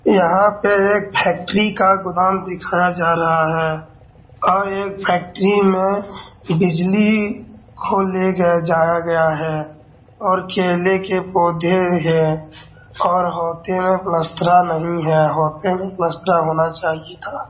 यहाँ पे एक फैक्ट्री का गोदाम दिखाया जा रहा है और एक फैक्ट्री में बिजली को ले गया ले जाया गया है और केले के पौधे हैं और होयते मे पलस्तरा नही है होयते मे पलस्तरा होना चाहिए था।